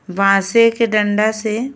बासे के डंडा से --